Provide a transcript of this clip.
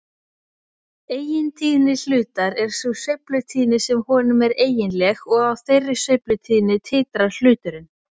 Eigintíðni hlutar er sú sveiflutíðni sem honum er eiginleg og á þeirri sveiflutíðni titrar hluturinn.